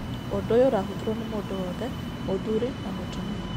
Ũndu ũyũ ũrahũthĩrwo nĩ mũndũ wothe, muthũrĩ na mũtũmia